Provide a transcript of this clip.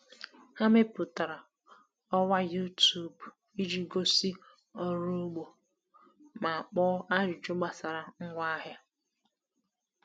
Ha mepụtara ọwa YouTube iji gosi ọrụ ugbo ma kpọọ ajụjụ gbasara ngwaahịa.